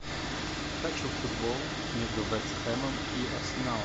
хочу футбол между вест хэмом и арсеналом